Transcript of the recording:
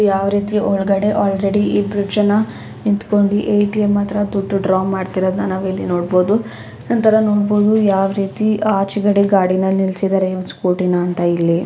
ಯಾವ ರೀತಿ ಒಳಗಡೆ ಆಲ್ರೆಡಿ ಇಬ್ಬರು ಜನ ನಿಂತುಕೊಂಡಿ ಎ_ಟಿ_ಎಮ್ ಆತ್ರ ದುಡ್ಡು ಡ್ರಾ ಮಾಡುತಿರೋದುನ ನಾವು ಇಲ್ಲಿ ನೋಡಬಹುದು. ನಂತರ ನೋಡಬಹುದು ಯಾವ ರೀತಿ ಆಚೆಗಡೆ ಗಾಡಿನ ನಿಲ್ಲಿಸಿದರೆ ಇವ್ರು ಸ್ಕೂಟಿನ ಅಂತ ಇಲ್ಲಿ.